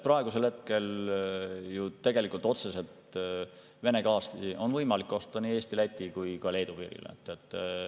Praegusel hetkel on tegelikult Vene gaasi võimalik osta nii Eesti, Läti kui ka Leedu piirile.